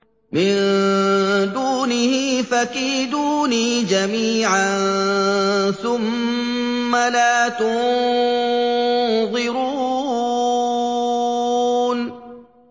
مِن دُونِهِ ۖ فَكِيدُونِي جَمِيعًا ثُمَّ لَا تُنظِرُونِ